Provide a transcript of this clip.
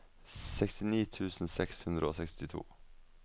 sekstini tusen seks hundre og sekstito